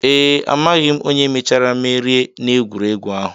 Ee, amaghị onye mechara merie n'egwuregwu ahụ